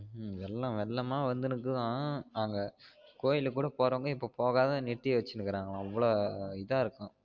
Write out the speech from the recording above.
வெள்ளம் வெள்ளம் ஆஹ் வந்துநிருக்குதாம் அங்க கோயில் கூட போறவங்க இப்ப போகாம நிறுத்தி வச்சினு இருக்காங்களாம் இவ்ளோ இதா இருக்காம்